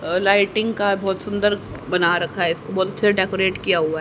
और लाइटिंग का बहुत सुंदर बना रखा है इसको बल्ब से डेकोरेट किया हुआ है।